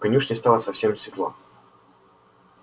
в конюшне стало совсем светло